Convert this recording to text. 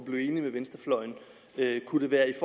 blive enig med venstrefløjen kunne det være i